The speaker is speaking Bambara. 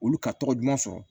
Olu ka tɔgɔ duman sɔrɔ